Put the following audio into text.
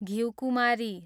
घिउकुमारी